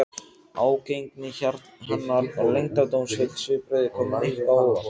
Ágengni hennar og leyndardómsfull svipbrigði komu Nikka á óvart.